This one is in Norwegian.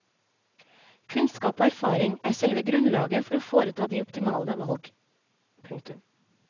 Kunnskap og erfaring er selve grunnlaget for å foreta de optimale valg. punktum